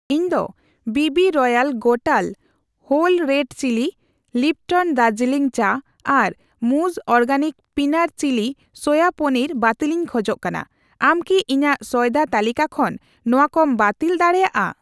ᱤᱧ ᱫᱚ ᱵᱤᱵᱤ ᱨᱚᱭᱟᱞ ᱜᱚᱴᱟᱞ whole red chili, Lipton Darjeeling ᱪᱟ ᱟᱨ ᱢᱩᱡ organic peanut chili soya paneer ᱵᱟᱹᱛᱤᱞᱤᱧ ᱠᱷᱚᱡ ᱠᱟᱱᱟ, ᱟᱢ ᱠᱤ ᱤᱧᱟᱜ ᱥᱚᱭᱫᱟ ᱛᱟᱹᱞᱤᱠᱟ ᱠᱷᱚᱱ ᱱᱚᱣᱟᱠᱚᱢ ᱵᱟᱹᱛᱤᱞ ᱫᱟᱲᱮᱭᱟᱜᱼᱟ ?